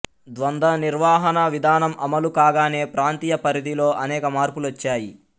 ద్వంద నిర్వహణా విధానం అమలు కాగానే ప్రాంతీయ పరిధిలో అనేక మార్పులు వచ్చాయి